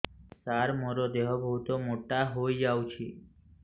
ସାର ମୋର ଦେହ ବହୁତ ମୋଟା ହୋଇଯାଉଛି